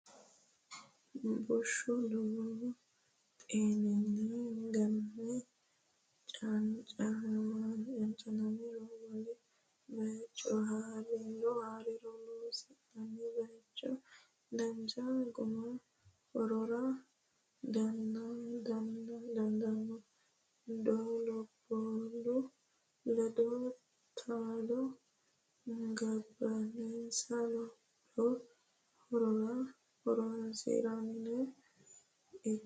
Bushshu lowo xeeninni ganame cancanamironna wole bayicho ha’riro loosi’nanni bayichi dancha guma hoogara dandaanno, doo labballu ledo taalo gobbansa lopho horora horoonsidhinori hiik?